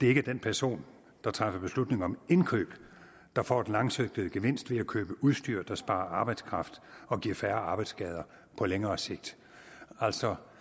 er den person der træffer beslutning om indkøb der får den langsigtede gevinst ved at købe udstyr der sparer arbejdskraft og giver færre arbejdsskader på længere sigt altså